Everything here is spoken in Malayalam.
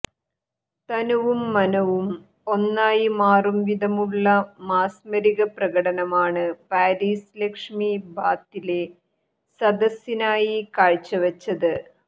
തനുവും മനവും ഒന്നായി മാറും വിധമുള്ള മാസ്മരിക പ്രകടനമാണ് പാരീസ് ലക്ഷ്മി ബാത്തിലെ സദസിനായി കാഴ്ചവച്ചത്